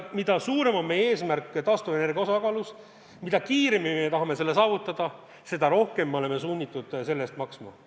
Mida suurem on meie eesmärk taastuvenergia osakaalu suurendamisel, mida kiiremini me tahame selle saavutada, seda rohkem me oleme sunnitud selle eest maksma.